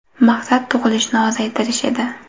Maqsad tug‘ilishni ozaytirish edi.